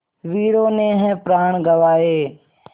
वीरों ने है प्राण गँवाए